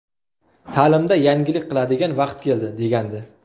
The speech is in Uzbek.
Ta’limda yangilik qiladigan vaqt keldi”, degandi.